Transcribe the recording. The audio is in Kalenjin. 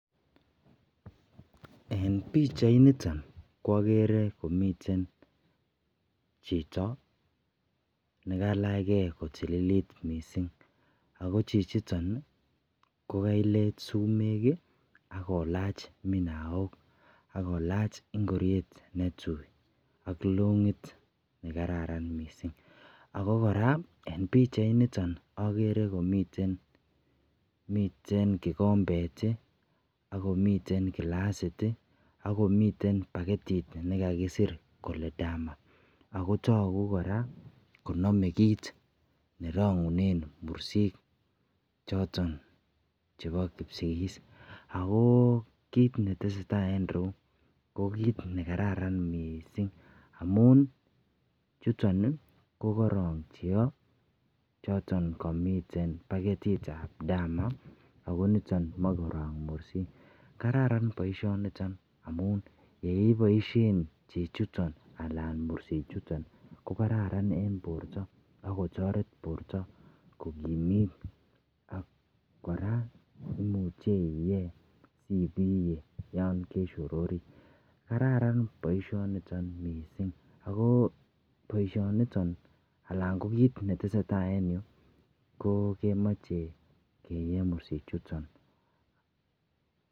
en pichait niton koogere komiten chito negalach gee kotililit mising, ago chichiton iih kogaleet sumeek iih ak kolaach minaook ak kolaach ingoryeet netuui ak longiit negararan mising, ago koraa en pichait niton ko ogere komiten kigombeet iih ak komiten kilasiit iih ak komiten bagetit negagisiir kole dama agoo toguu koraa konome kiit nerongunen mursiik choton chebo kipsigis, agoo kiit netesetai en ireuu ko kiit negararan mising amun chuton kogoroong cheoo choton komiten bagetiit ab dama ago niton moee koroong mursiik, kararan boishoniton amuun yeiboisheen chechuton alan mursiik chuton kogararan en borto ak kotoreet borto kogimiit, ak koraa imuche iyee ibiyee yon keshororii, kararan boishoniton mising, agoo boishoniton ko kiit netesetai en yuu koo kemoche keyee mursiik chuton.